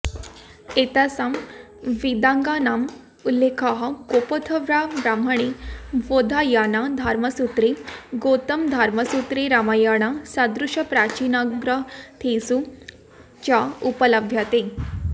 एतेषां वेदाङ्गानाम् उल्लेखः गोपथब्राह्मणे बोधायनधर्मसूत्रे गौतमधर्मसूत्रे रामायणसदृशप्राचीनग्रन्थेषु च उपलभ्यते